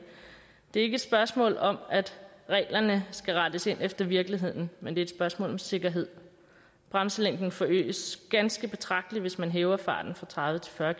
det er ikke et spørgsmål om at reglerne skal rettes ind efter virkeligheden men det er et spørgsmål om sikkerhed bremselængden forøges ganske betragteligt hvis man hæver farten fra tredive til fyrre